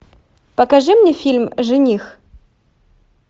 покажи мне фильм жених